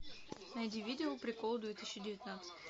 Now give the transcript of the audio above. найди видео приколы две тысячи девятнадцать